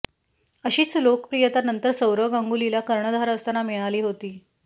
अशीच लोकप्रियता नंतर सौरव गांगुलीला कर्णधार असताना मिळाली होती